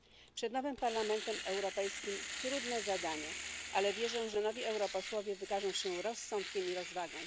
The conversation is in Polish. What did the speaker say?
Przed nowym Parlamentem Europejskim trudne zadanie, ale wierzę, że nowi europosłowie wykażą się rozsądkiem i rozwagą.